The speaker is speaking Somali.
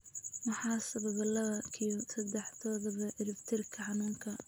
Maxaa sababa laba q sedex todoba ciribtirka xanuunka?